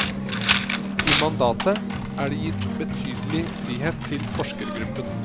I mandatet er det gitt betydelig frihet til forskergruppen.